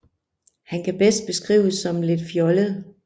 Han kan bedst beskrives som lidt fjollet